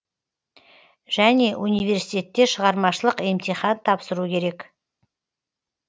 және университте шығармашылық емтихан тапсыру керек